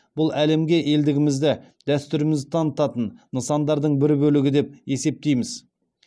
бұл әлемге елдігімізді дәстүрімізді танытатын нысандардың бір бөлігі деп есептейміз